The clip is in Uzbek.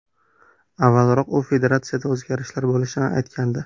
Avvalroq u federatsiyada o‘zgarishlar bo‘lishini aytgandi.